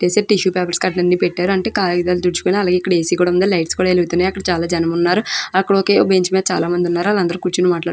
tissue paper కట్టాలన్నీ పెట్టారు అంటే కాగితలతో తిడుచుకోటానికి ఏ సి ఉంది అలాగే లీఘటస్ వెలుగుతున్నాయి అక్కడ చాలా జనం ఉన్నారు అక్కడ ఒకే బెంచ్ మేద కూర్చొని ఉన్నారు వల్లందురు కూడా --